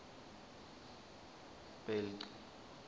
bhelci